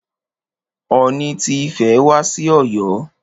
Ooni ti Ifẹ̀ wá sí Ọ̀yọ́.